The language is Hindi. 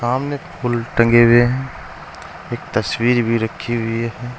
सामने फूल टंगे हुए है एक तस्वीर भी रखीं हुई है।